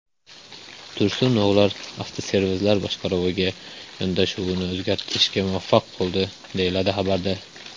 Tursunovlar avtoservislar boshqaruviga yondashuvni o‘zgartirishga muvaffaq bo‘ldi, deyiladi xabarda.